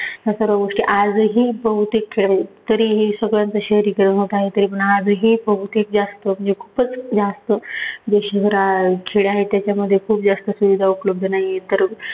या सर्व गोष्टी आजही बहुतेक खेडे तरीही सगळ्यांचं शहरीकरण होत आहे. तरीपण आजही बहुतेक जास्त म्हणजे खूपच जास्त देशभरा खेडे आहेत त्याच्यामध्ये खूप जास्त सुविधा उपलब्ध नाहीयेत तर